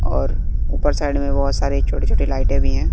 और ऊपर साइड में बहोत सारे छोटे छोटे लाइटें भी हैं।